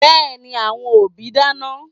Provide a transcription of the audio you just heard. Yes, the parents are cooking